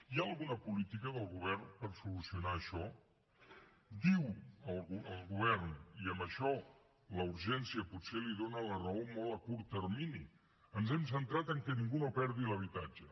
hi ha alguna política del govern per solucionar això diu el govern i en això la urgència potser li dóna la raó molt a curt termini ens hem centrat que ningú no perdi l’habitatge